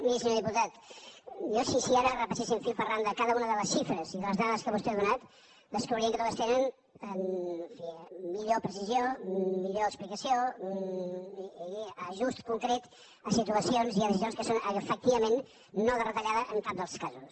miri senyor diputat jo si ara repasséssim fil per randa cada una de les xifres i de les dades que vostè ha donat descobrirem que totes tenen en fi millor precisió millor explicació i ajust concret a situacions i a decisions que són efectivament no de retallada en cap dels casos